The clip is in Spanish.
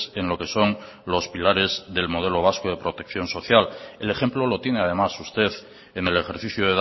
en lo que son los pilares del modelo vasco de protección social el ejemplo lo tiene además usted en el ejercicio